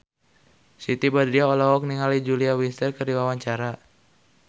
Siti Badriah olohok ningali Julia Winter keur diwawancara